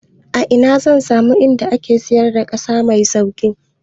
A ina zan samu gurin da ake siyar da ƙasa mai sauƙi?